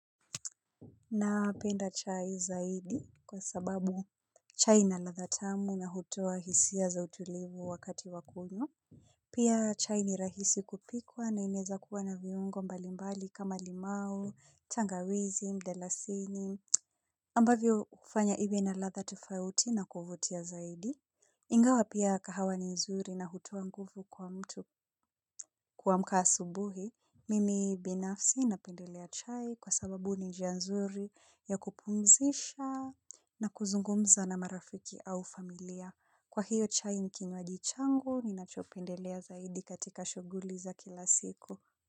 Napenda chai zaidi kwa sababu chai inaladha tamu na hutoa hisia za utulivu wakati wakunywa. Pia chai ni rahisi kupikwa na inaweza kuwa na viungo mbalimbali kama limau, tangawizi, mdalasini, ambavyo hufanya iwe na ladha tofauti na kuvutia zaidi. Ingawa pia kahawa ni nzuri na hutoa nguvu kwa mtu kuamka asubuhi Mimi binafsi ninapendelea chai kwa sababu ni njia nzuri ya kupumzisha na kuzungumza na marafiki au familia. Kwa hiyo chai ni kinywaji changu, ninachopendelea zaidi katika shughuli za kila siku.